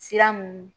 Sira mun